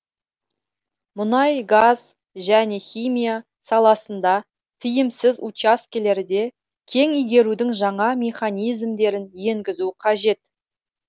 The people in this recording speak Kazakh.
мұнай газ және химия саласында тиімсіз учаскелерде кен игерудің жаңа механизмдерін енгізу қажет